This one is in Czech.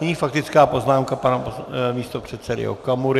Nyní faktická poznámka pana místopředsedy Okamury.